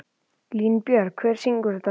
Línbjörg, hver syngur þetta lag?